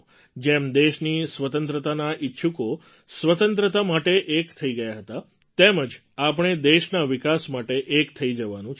જેમ દેશની સ્વતંત્રતાના ઈચ્છુકો સ્વતંત્રતા માટે એક થઈ ગયા હતા તેમ જ આપણે દેશના વિકાસ માટે એક થઈ જવાનું છે